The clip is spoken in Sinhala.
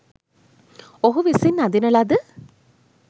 ඔහු විසින් අඳින ලද